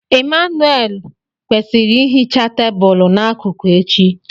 Emmanuelle kwesịrị ihicha tebụl n'akụkụ echi.